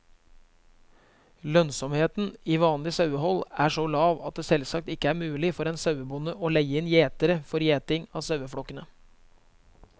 Lønnsomheten i vanlig sauehold er så lav at det selvsagt ikke er mulig for en sauebonde å leie inn gjetere for gjeting av saueflokkene.